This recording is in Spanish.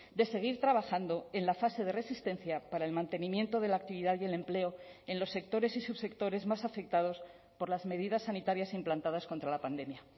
de seguir trabajando en la fase de resistencia para el mantenimiento de la actividad y el empleo en los sectores y subsectores más afectados por las medidas sanitarias implantadas contra la pandemia